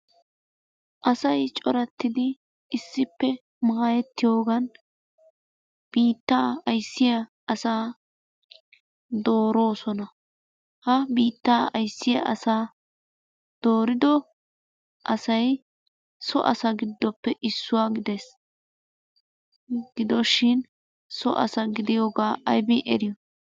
Asay coratiddi issippe maayetiyoogan biittaa ayssiya asaa doorosona. Ha biittaa ayssiya asaa doorido asay so asa giddoppe issuwaa gidees. Gidoshin so asa gidiyooga aybbin eriyo?